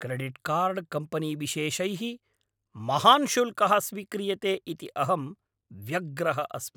Credit card company विशेषैः महान् शुल्कः स्वीक्रियते इति अहं व्यग्रः अस्मि।